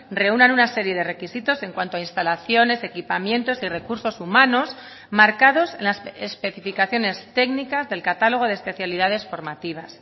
reúnan una serie de requisitos en cuanto a instalaciones equipamientos y recursos humanos marcados en las especificaciones técnicas del catálogo de especialidades formativas